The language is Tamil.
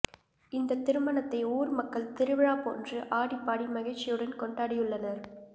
இந்தத் திருமணத்தை ஊர் மக்கள் திருவிழா போன்று ஆடிப்பாடி மகிழ்ச்சியுடன் கொண்டாடியுள்ளனர்